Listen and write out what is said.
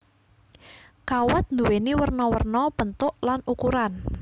Kawat nduwéni werna werna bentuk lan ukuran